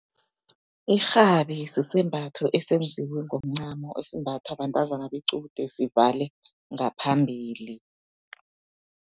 Irhabi sisembatho esenziwe ngomncamo, esimbathwa bantazana bequde sivale ngaphambili.